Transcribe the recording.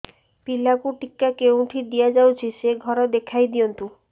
ପିଲାକୁ ଟିକା କେଉଁଠି ଦିଆଯାଉଛି ସେ ଘର ଦେଖାଇ ଦିଅନ୍ତୁ